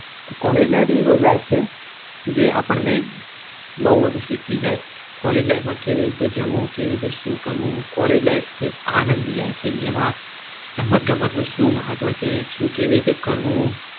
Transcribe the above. તો College life એક એવી life છે જે આપણને બવ બધું શીખવી જાય કેવી રીતે જવું કેવી રીતે શું કરવું College life એ એક આનંદ ની life છે કરવું